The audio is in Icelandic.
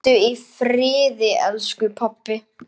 Hvíldu í friði elsku pabbi.